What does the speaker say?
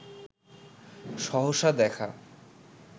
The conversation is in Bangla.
সহসা দেখা